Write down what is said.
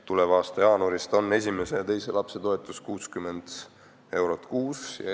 Tuleva aasta jaanuarist on esimese ja teise lapse toetus 60 eurot kuus.